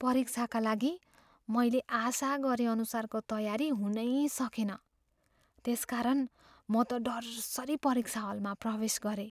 परीक्षाका लागि मैले आशा गरेअनुसारको तयारी हुनै सकेन, त्यसकारण म त डरसरि परीक्षा हलमा प्रवेश गरेँ।